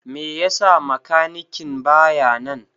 Me yasa makanikin baya nan?